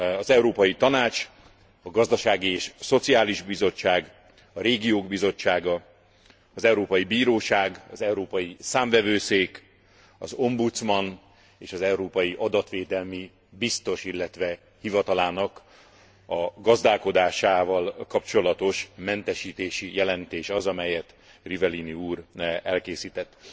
Az Európai Tanács, a Gazdasági és Szociális Bizottság, a Régiók Bizottsága, az Európai Bíróság, az Európai Számvevőszék, az Ombudsman és az európai adatvédelmi biztos, illetve hivatalának a gazdálkodásával kapcsolatos mentesítési jelentés az, amelyet Rivellini úr elkészített.